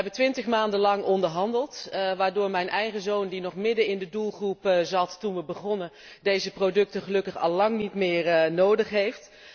We hebben twintig maanden lang onderhandeld, waardoor mijn eigen zoon die nog midden in de doelgroep zat toen we begonnen, deze producten gelukkig al lang niet meer nodig heeft.